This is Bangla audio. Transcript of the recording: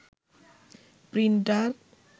প্রিন্টার